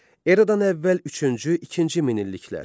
Eradan əvvəl üçüncü-ikinci minilliklər.